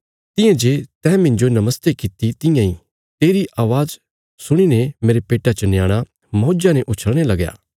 तियां जे तैं मिन्जो नमस्ते किति तियां इ तेरी अवाज़ सुणी ने मेरे पेट्टा च न्याणा मौज्जा ने उछल़णे लग्या